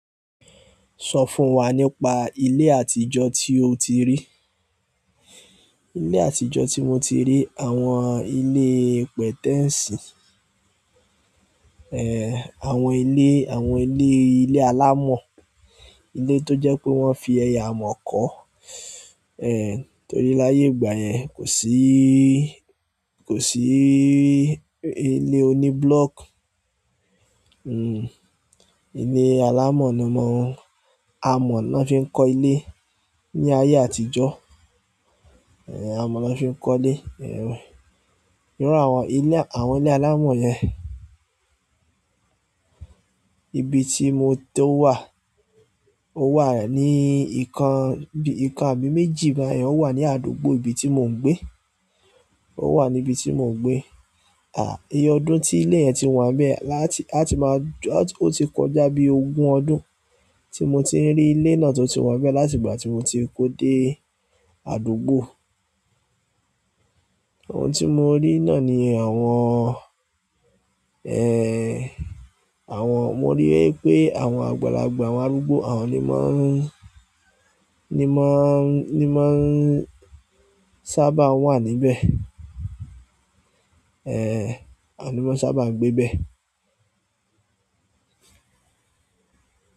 Sọ fún wa nípa ilé àtijọ́ tí o ti rí. Ilé àtijọ́ tí mo ti rí, àwọn ilé pẹ̀tẹ́ẹ̀sì, àwọn ilé, àwọn ilé, ilé alámọ̀, ilé tó jẹ́ pé wọ́n fi amọ̀ kọ́. Torí laye igbayen, ko si--ko si ile oni block, ile alamo na mo n, amo na fi n ko ile ni aye àtijọ́ amọ̀ na fi ń kọ́ ilé. Iru àwọn ilé, àwọn ilé alámọ̀ yẹn, ibi tí mo tó wà, ó wà ní ìkan, ìkan àbí méjì bayen, ó wà ní àdúgbò ibi tí mò ń gbé. Ó wà ní ibi tí mò ń gbé. Iye ọdún ti ile yen ti wa n be lati--ati maa n, o ti ko ja bi ogun ọdún ti mo ti n ri ile náà to ti wa n be láti ìgbà ti mo ti ko de àdúgbò. Àwọn tí mo rí naá ni àwọn, àwọn, mo rí pé àwọn àgbàlagbà, àwọn arúgbó àwọn ni mọ́ n, ni mọ́ n, ni mọ́ n sábà ń wà níbẹ̀. Àwọn lo mọ́ n sábà ń gbé bẹ́ẹ̀.